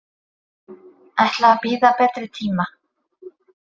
Ætla að bíða betri tíma.